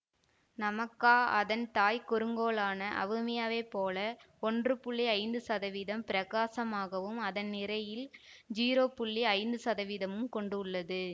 Namaka அதன் தாய்க் குறுங்கோளான அவுமியாவைப் போல ஒன்று புள்ளி ஐந்து சதவீதம் பிரகாசமாகவும் அதன் நிறையில் ஸிரோ புள்ளி ஐந்து சதவீதமும் கொண்டுள்ளது